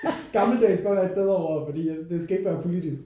Gammeldags bør være et bedre ord fordi det skal ikke være politisk